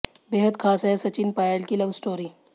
बेहद खास है सचिन पायल की लव स्टोरी